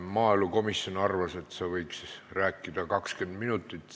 Maaelukomisjon arvas, et sa võiks rääkida 20 minutit.